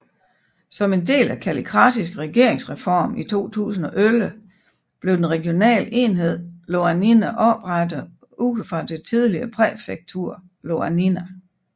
Som en del af Kallikratis regeringsreform i 2011 blev den regionale enhed Ioannina oprettet ud fra det tidligere præfektur Ioannina